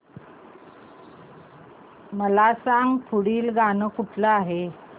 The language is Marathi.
मला सांग पुढील गाणं कुठलं आहे